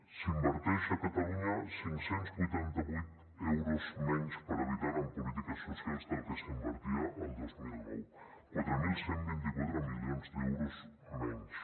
s’inverteixen a catalunya cinc cents i vuitanta vuit euros menys per habitant en polítiques socials del que s’invertia el dos mil nou quatre mil cent i vint quatre milions d’euros menys